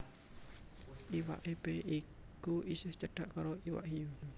Iwak Epé iku isih cedhak karo iwak hiyu